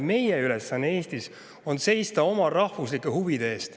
Meie ülesanne on seista oma rahvuslike huvide eest.